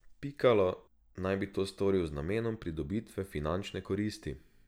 Pikalo naj bi to storil z namenom pridobitve finančne koristi.